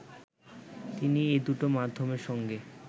তিনি এ দুটো মাধ্যমের সঙ্গে